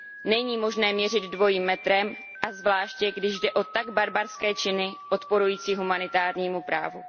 Není možné měřit dvojím metrem, a zvláště když jde o tak barbarské činy odporující humanitárnímu právu.